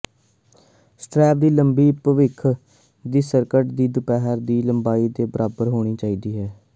strap ਦੀ ਲੰਬਾਈ ਭਵਿੱਖ ਦੀ ਸਕਰਟ ਦੀ ਦੁਪਹਿਰ ਦੀ ਲੰਬਾਈ ਦੇ ਬਰਾਬਰ ਹੋਣੀ ਚਾਹੀਦੀ ਹੈ